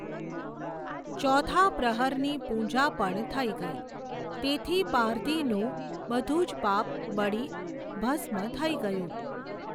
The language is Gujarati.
ચોથા પ્રહરની પૂજા પણ થઇ ગઇ, તેથી પારધીનું બઘું જ પાપ બળી ભસ્મ થઇ ગયું.